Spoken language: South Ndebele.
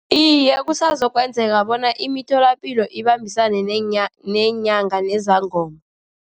Iye, kusazoyenzeka bona imitholapilo ibambisane neenyanga nezangoma.